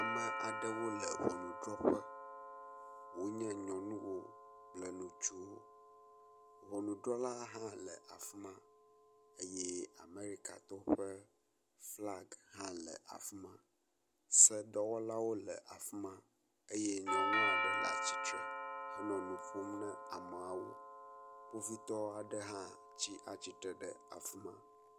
Ame aɖewo le ŋɔnudzrɔƒe wonye nyɔnuwo kple ŋutsuwo. Ŋɔnudrɔla hã le afi ma eye Amerikatɔwo ƒe flaga hã le afi ma. Sedɔwlawo le afi ma eye nyɔnu aɖe le atsitre henɔ nu ƒom na ameawo. Kpovitɔ aɖewo hã le afi ma.